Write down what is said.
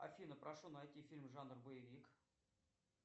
афина прошу найти фильм жанр боевик